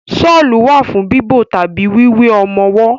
Ṣọ́lù wà fún bíbo tàbí wíwé ọmọwọ́.